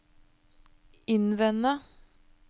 innvende